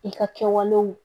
I ka kɛwalew